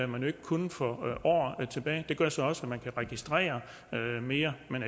man jo ikke kunne for år tilbage det gør så også at man kan registrere mere men